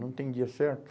Não tem dia certo?